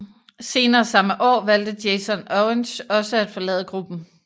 Senere samme år valgte Jason Orange også at forlade gruppen